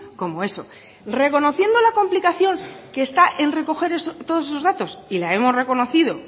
como eso reconociendo la complicación que está en recoger todos esos datos y la hemos reconocido